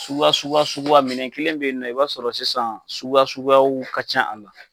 Suguya suguya suguya minɛn kelen bɛ yen nɔ i b'a sɔrɔ sisan suguya suguyaw ka can a la.